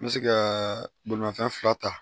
N bɛ se ka bolimafɛn fila ta